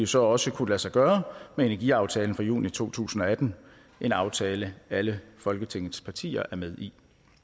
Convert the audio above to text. så også kunne lade sig gøre med energiaftalen fra juni to tusind og atten en aftale alle folketingets partier er med i